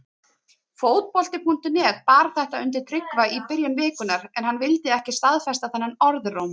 Fótbolti.net bar þetta undir Tryggva í byrjun vikunnar en hann vildi ekki staðfesta þennan orðróm.